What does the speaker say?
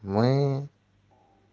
мы